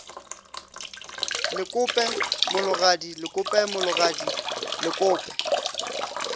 lekope mologadi lekope mologadi lekope